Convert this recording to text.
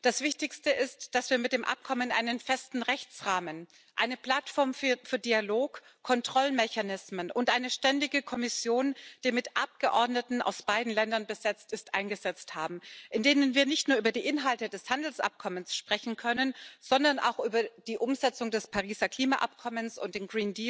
Das Wichtigste ist, dass wir mit dem Abkommen einen festen Rechtsrahmen, eine Plattform für Dialog, Kontrollmechanismen und eine ständige Kommission, die mit Abgeordneten aus beiden Ländern besetzt ist, eingesetzt haben, in denen wir nicht nur über die Inhalte des Handelsabkommens sprechen können, sondern auch über die Umsetzung des Pariser Klimaabkommens und den